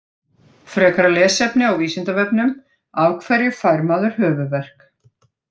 Frekara lesefni á Vísindavefnum: Af hverju fær maður höfuðverk?